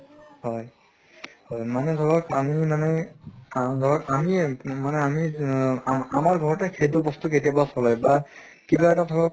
হয় হয় মানে ধৰক আমি মানে আ ধৰক আমিয়ে মানে আমি ই আমাৰ ঘৰত সেইটো বস্তু কেতিয়াবা চলে বা কিবা এটা ধৰক